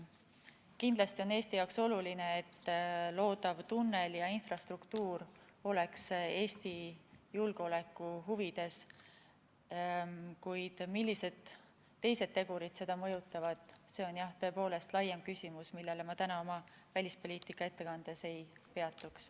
Kindlasti on Eesti jaoks oluline, et loodav tunnel ja infrastruktuur oleks Eesti julgeoleku huvides, kuid millised teised tegurid seda mõjutavad, see on jah, tõepoolest, laiem küsimus, millel ma täna oma välispoliitika ettekandes ei peatuks.